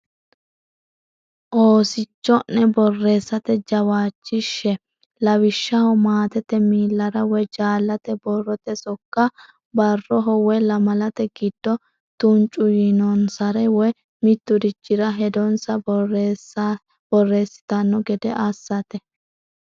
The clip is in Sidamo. Oosicho’ne borreessate jawaachishshe; lawishshaho, maatete miillara woy jaallate borrote sokka, barraho woy lamalate giddo tuncu yiinonsare, woy mitturichire hedonsa borreessitanno gede assate.